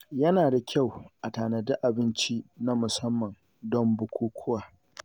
Yana da kyau a tanadi abinci na musamman don bukukuwa.